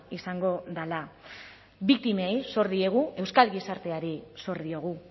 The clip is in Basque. izango dela biktimei zor diegu euskal gizarteari zor diogu